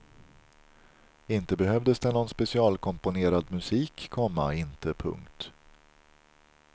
Inte behövdes det någon specialkomponerad musik, komma inte. punkt